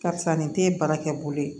Karisa nin te ye baara kɛ bolo ye